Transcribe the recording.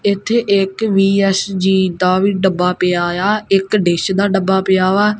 ਇੱਥੇ ਇੱਕ ਬੀ_ਐਸ_ਜੀ ਦਾ ਵੀ ਡੱਬਾ ਪਿਆ ਹੋਏਆ ਇੱਕ ਡਿਸ਼ ਦਾ ਡੱਬਾ ਪਿਆ ਵਾ।